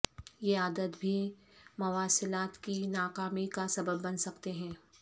یہ عادت بھی مواصلات کی ناکامی کا سبب بن سکتے ہیں